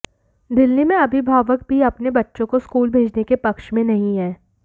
दिल्ली में अभिभावक भी अपने बच्चों को स्कूल भेजने के पक्ष में नहीं है